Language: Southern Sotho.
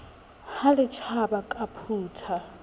ha le tjhaba ke phutha